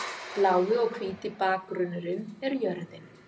Blái og hvíti bakgrunnurinn er jörðin.